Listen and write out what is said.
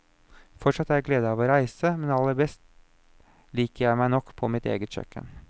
Fortsatt har jeg glede av å reise, men aller best liker jeg meg nok på mitt eget kjøkken.